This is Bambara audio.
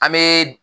An bɛ